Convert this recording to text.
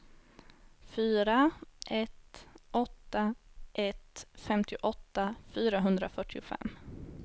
fyra ett åtta ett femtioåtta fyrahundrafyrtiofem